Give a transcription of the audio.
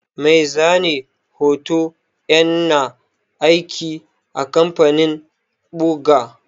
Mai zane hoto ƴana aiki a kamfanin ɓuga.